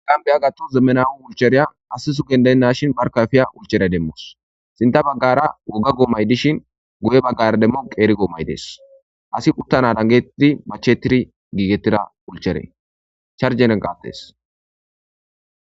aggan beya gattu zemmenawu ulchereya asisu gendenna shin barkafiya ulchera demmos sinta baggara woga goomay dishin goye baggara demmo qeeri goomay dees asi uttana dangetidi machetiri giigetida ulcheree charjenenqaattes